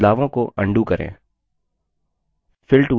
बदलावों को undo करें